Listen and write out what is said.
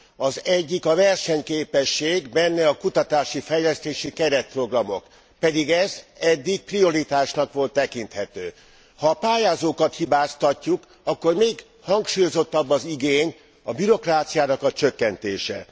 Az egyik a versenyképesség, benne a kutatási, fejlesztési keretprogramok. Pedig ez eddig prioritásnak volt tekinthető. Ha a pályázókat hibáztatjuk, akkor még hangsúlyozottabb igény a bürokráciának a csökkentése.